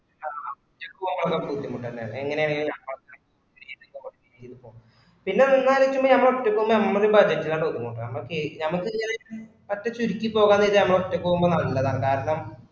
ആഹ് ഒറ്റക് പോവാന് നല്ല ബുദ്ദിമുട്ട്എന്നാണ് എങ്ങനാണേൽ പിന്നെ നമ്മളെ രീതിയിൽ പോവാണേൽ പിന്നെ നിന്നാൽ നമ്മളെ ഒറ്റക് പോവുമ്പോ നമ്മളെയൊരു budget ലാട് ഒതുങ്ങും കേട്ടോ നമ്മക് നമ്മക് ന്നവെച്ചാൽ budget ചുരുക്കിപോവുമ്പോ നമ്മള് ഒറ്റയ്ക്ക് പോവുമ്പോ നല്ല ആണ് കാരണം